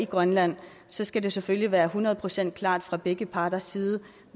grønland så skal det selvfølgelig være hundrede procent klart fra begge parters side